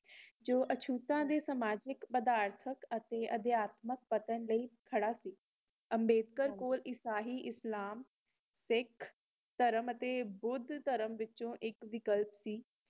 ਜੌ ਅਛੂਤਾ ਦੇ ਸਮਾਜਿਕ ਪਦਾਰਥਕ ਅਤੇ ਅਧਿਆਤਮਕ ਪਤਨ ਲਈ ਖੜ੍ਹਾ ਸੀ ਅੰਬੇਡਕਰ ਕੋਲ ਇਸਹਿ ਇਸਲਾਮ ਸਿੱਖ ਧਰਮ ਅਤੇ ਬੁੱਧ ਧਰਮ ਵਿੱਚੋ ਇਕ ਵਿਕਲਪ ਸੀ